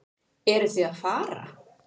Eruð þið að fara?